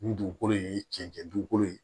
Nin dugukolo in ye cɛncɛn dugukolo ye